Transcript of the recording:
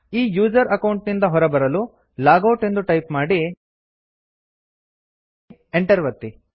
ಈ user account ನಿಂದ ಹೊರಬರಲು160 ಲಾಗೌಟ್ ಎಂದು ಟೈಪ್ ಮಾಡಿ enter ಒತ್ತಿ